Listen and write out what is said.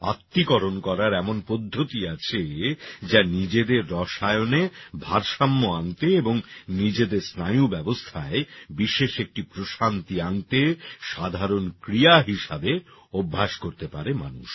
আত্তীকরণ করার এমন পদ্ধতি আছে যা নিজেদের রসায়নে ভারসাম্য আনতে এবং নিজেদের স্নায়ুব্যবস্থায় বিশেষ একটা প্রশান্তি আনতে সাধারণ ক্রিয়া হিসাবে অভ্যাস করতে পারে মানুষ